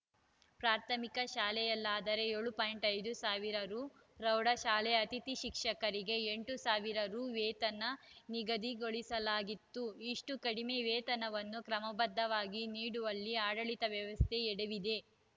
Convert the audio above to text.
ಪ್ರಾಥಮಿಕ ಶಾಲೆಯಲ್ಲಾದರೆ ಏಳು ಪಾಯಿಂಟ್ ಐದು ಸಾವಿರ ರುಪ್ರೌಢಶಾಲೆ ಅತಿಥಿ ಶಿಕ್ಷಕರಿಗೆ ಎಂಟು ಸಾವಿರ ರು ವೇತನ ನಿಗದಿಗೊಳಿಸಲಾಗಿತ್ತು ಇಷ್ಟುಕಡಿಮೆ ವೇತನವನ್ನೂ ಕ್ರಮಬದ್ಧವಾಗಿ ನೀಡುವಲ್ಲಿ ಆಡಳಿತ ವ್ಯವಸ್ಥೆ ಎಡವಿದೆ